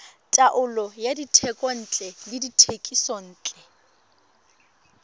taolo ya dithekontle le dithekisontle